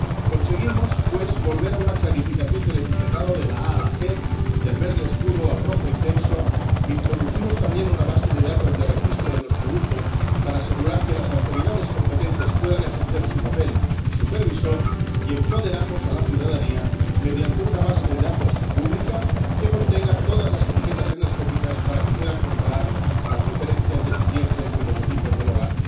Conseguimos, pues, volver a una clarificación del etiquetado —de la A a la G, del verde oscuro al rojo intenso—, introducimos también una base de datos de registro de los productos para asegurar que las autoridades competentes puedan ejercer su papel supervisor y empoderamos a la ciudadanía, mediante una base de datos pública que contenga todas las etiquetas energéticas, para que puedan comparar las diferencias de eficiencia entre los equipos del hogar.